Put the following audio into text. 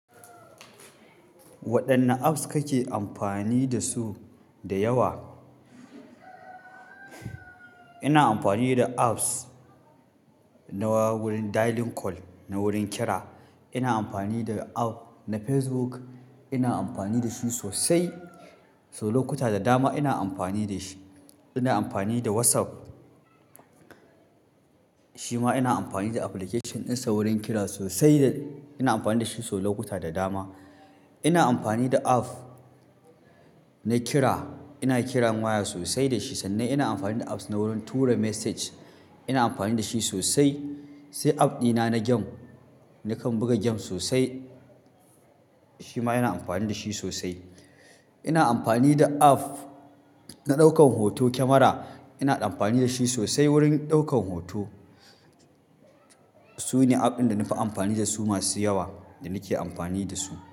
Waɗanne apps kake amfani da su da yawa? Ina amfani da apps na wurin dialing call, na wurin kiri. Ina amfani da app na Facebook, ina amfani da su sosai, sau lokuta da dama ina amfani da shi. Ina amfani da WhatsApp, shi ma ina amfani da application ɗinsa wurin kira sosai da ina amfani da shi sau lokuta da dama. Ina amfani da app na kira, ina kiran waya sosai da shi sannan ina amfani da apps na wurin tura message, ina amfani da shi sosai. Sai app ɗina na game, nakan buga game sosai shi ma ina amfani da shi sosai. Ina amfani da app na ɗaukan hoto, kyamara ina amfani da shi sosai wurin ɗaukan hoto. Sune app ɗin da na fi amfani da su, masu yawa da nake amfani da su.